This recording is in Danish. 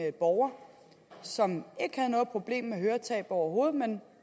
en borger som ikke havde noget problem med høretab overhovedet men